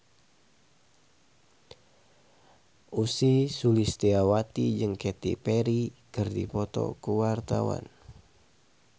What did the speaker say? Ussy Sulistyawati jeung Katy Perry keur dipoto ku wartawan